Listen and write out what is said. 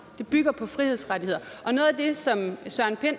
bygger på frihedsrettigheder søren pind